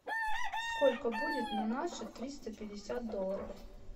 сколько будет на наши триста пятьдесят долларов